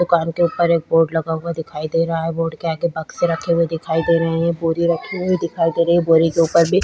दुकान के ऊपर एक बोर्ड लगा हुआ दिखाई दे रहा है बोर्ड के आगे बक्से रखे हुए दिखाई दे रहे है एक बोरी रखी हुई दिखाई दे रही हैबोरी के ऊपर भी--